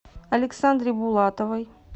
александре булатовой